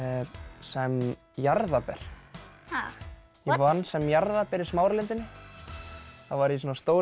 sem jarðarber ha ég vann sem jarðarber í Smáralindinni þá var ég í svona stórum